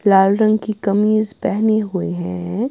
लाल रंग की कमीज पहने हुए हैं।